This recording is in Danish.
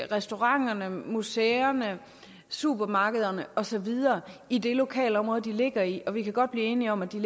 restauranterne museerne supermarkederne og så videre i det lokalområde de ligger i og vi kan godt blive enige om at de